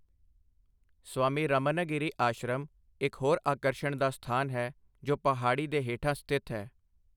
ਸਵਾਮੀ ਰਾਮਨਗਿਰੀ ਆਸ਼ਰਮ ਇੱਕ ਹੋਰ ਆਕਰਸ਼ਣ ਦਾ ਸਥਾਨ ਹੈ, ਜੋ ਪਹਾੜੀ ਦੇ ਹੇਠਾਂ ਸਥਿਤ ਹੈ।